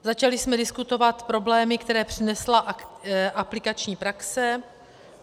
Začali jsme diskutovat problémy, které přinesla aplikační praxe.